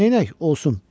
Neynəyək, olsun.